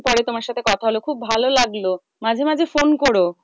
অনেক দিন পরে তোমার সাথে কথা হলো খুব ভালো লাগলো মাঝে মাঝে ফোন করো।